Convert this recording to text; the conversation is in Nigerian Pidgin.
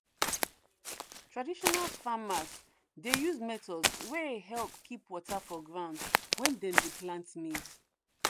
traditional farmers dey use methods wey help keep water for ground when dem dey plant maize.